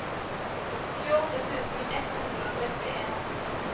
tjueåtte tusen ett hundre og trettien